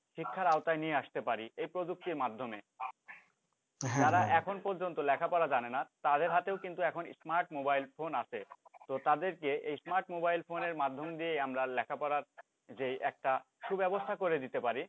শিক্ষার আওতায় নিয়ে আসতে পারি এই প্রযুক্তির মাধ্যমে তারা এখন পর্যন্ত লেখা পড়া জানে না তাদের হাতেও কিন্তু এখন smart mobile phone আছে তো তাদেরকে এই smart mobile phone এর মাধ্যম দিয়েই আমরা লেখাপড়ার যেই একটা সু ব্যাবস্থা করে দিতে পারি।